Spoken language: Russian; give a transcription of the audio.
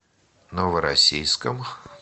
новороссийском